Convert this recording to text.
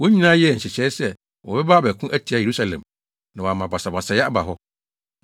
Wɔn nyinaa yɛɛ nhyehyɛe sɛ wɔbɛba abɛko atia Yerusalem, na wɔama basabasayɛ aba hɔ.